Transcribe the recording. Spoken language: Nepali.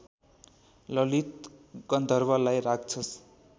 ललित गन्धर्वलाई राक्षस